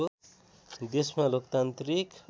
देशमा लोकतान्त्रिक